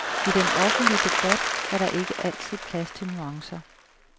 I den offentlige debat er der ikke altid plads til nuancer.